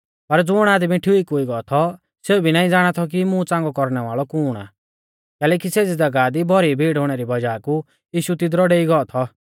पर ज़ुण आदमी ठीक हुई गौ थौ सेऊ भी नाईं ज़ाणा थौ कि मुं च़ांगौ कौरणै वाल़ै कुण आ कैलैकि सेज़ी ज़ागाह दी भौरी भीड़ हुणै री वज़ाह कु यीशु तिदरु डेई गौ थौ